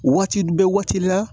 Waati bɛɛ waati la